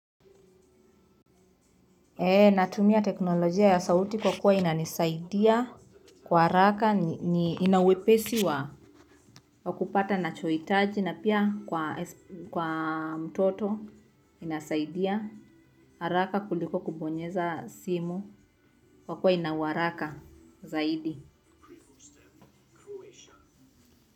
Natumia teknolojia ya sauti kwa kuwa inanisaidia kwa haraka ina uwepesi wa wa kupata nachohitaji na pia kwa mtoto inasaidia haraka kuliko kubonyeza simu kwa kuwa ina uharaka zaidi.